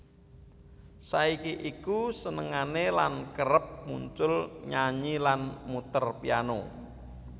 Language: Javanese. Saiki iku senengane lan kerep muncul nyanyi lan muter piano